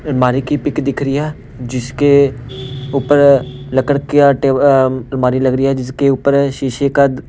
अलमारी की पिक दिख रही है जिसके ऊपर लकड़ का टेबल अलमारी लग रही है जिसके ऊपर शीशे का --